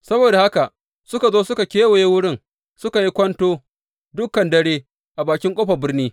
Saboda haka suka zo suka kewaye wurin suka yi kwanto dukan dare a bakin ƙofar birni.